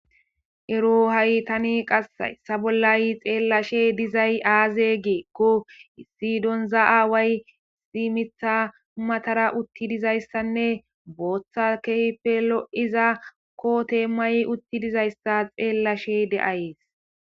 ero haytani qas yssa bollay xeellashe dizay aaze geekko sidonza7aaway simitha humatara utti dizayssanne booththa keehippe lo7iza kote may utti dizayssa xeellashe de7ayees